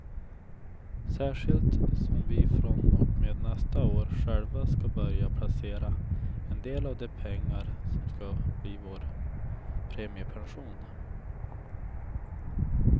Särskilt som vi från och med nästa år själva ska börja placera en del av de pengar som ska bli vår premiepension.